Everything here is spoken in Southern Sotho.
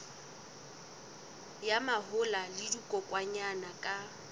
ya mahola le dikokwanyana ka